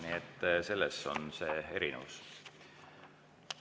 Nii et selles on see erinevus.